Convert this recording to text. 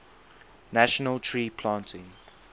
national tree planting